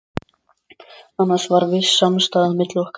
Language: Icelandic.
Annars var viss samstaða milli okkar